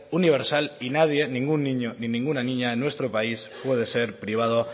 universal y nadie ningún niño ni ninguna niña en nuestro país puede ser privado